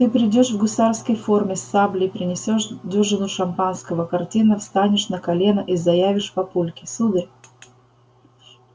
ты придёшь в гусарской форме с саблей принесёшь дюжину шампанского картинно встанешь на колено и заявишь папульке сударь